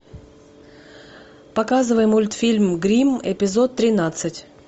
показывай мультфильм гримм эпизод тринадцать